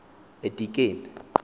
edikeni